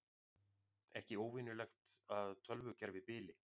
Ekki óvenjulegt að tölvukerfi bili